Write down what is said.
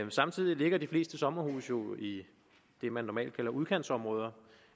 samtidig ligger de fleste sommerhuse jo i det man normalt kalder udkantsområder